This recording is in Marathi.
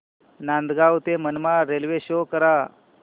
नांदगाव ते मनमाड रेल्वे शो करा